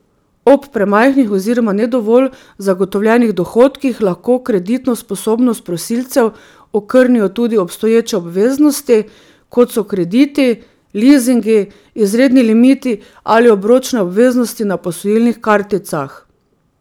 Ob premajhnih oziroma ne dovolj zagotovljenih dohodkih lahko kreditno sposobnost prosilcev okrnijo tudi obstoječe obveznosti, kot so krediti, lizingi, izredni limiti ali obročne obveznosti na posojilnih karticah.